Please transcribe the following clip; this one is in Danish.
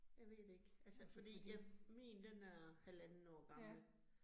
Jeg ved det ikke altså fordi jeg min, den er halvandet år gammel